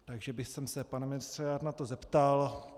Takže bych se, pane ministře, na to rád zeptal.